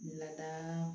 Lada